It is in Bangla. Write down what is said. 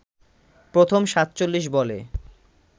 প্রথম ৪৭ বলে